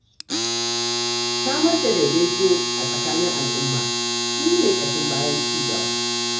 Samar da daidaito a tsakanin al'umma shi ne ƙashin bayan ci gaba.